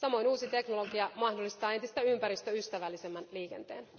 Samoin uusi teknologia mahdollistaa entistä ympäristöystävällisemmän liikenteen.